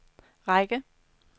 række